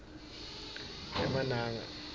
emananga